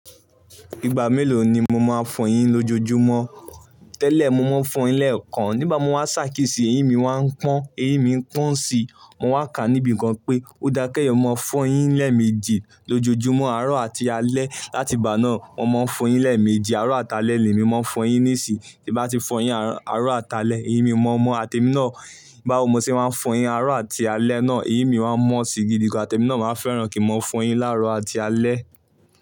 Ìgbà mélòó ni mo máa fọyín lójojúmọ́? Tẹ́lẹ̀ mo máa ń fọyín lẹ́ẹ̀kan. Nígbà mo wá ṣàkísì, eyín mi máa ń pọ́n, eyín mi ń pọ́n si. Mo wà kà níbi kan pé ó dá kéyìn mo máa fọyín lẹ́ẹ̀méjì lójojúmọ́, àárọ̀ àti alẹ́. Láti ìgbà náà mo máa ń fọyín lẹ́ẹ̀méjì àárọ̀ àti alẹ́ ni mí máa ń fọyín níìsì. Bí mo bá ti fọyín àárọ̀ àti alẹ́ náà, eyín mi mọ́ mọ́ àti èmi náà, báwo mo ṣe máa ń fọyín àárọ̀ àti alẹ́ náà, eyín mi máa ń mọ́ si gidi gan àti èmi náà máa ń fẹ́ràn kí n máa fọyín láàárọ̀ àti alẹ́